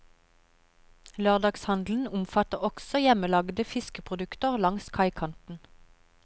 Lørdagshandel omfatter også hjemmelagede fiskeprodukter langs kaikanten.